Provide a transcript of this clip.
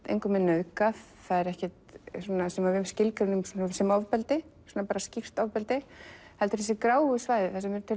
engum er nauðgað það er ekkert sem við skilgreinum sem ofbeldi skýrt ofbeldi heldur þessi gráu svæði